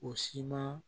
O siman